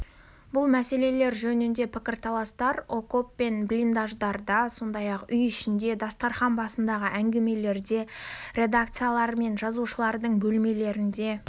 бұл мәселелер жөніндегі пікірталастар окоп пен блиндаждарда сондай-ақ үй ішінде дастарқан басындағы әңгімеде де редакциялар мен жазушылардың бөлмелерінде